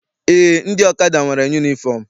Eé, ndị ọkada nwere yunifọm.